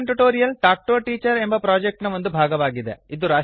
spoken tutorial talk to a teacher project ನ ಒಂದು ಭಾಗವಾಗಿದೆ